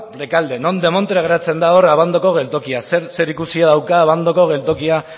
rekalde non demontre geratzen da hor abandoko geltokia zer zerikusi dauka abandoko geltokia